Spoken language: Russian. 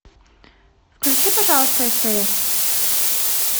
включи пожалуйста стс